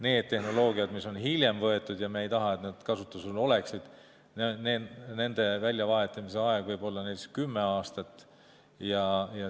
Nende tehnoloogiate väljavahetamise ajaks, mis on hiljem kasutusele võetud ja mille puhul me ei taha, et need kasutusel oleksid, määratakse võib olla näiteks kümme aastat.